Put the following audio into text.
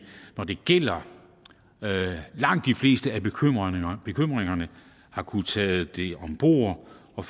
når det gælder langt de fleste af bekymringerne har kunnet tage dem om bord og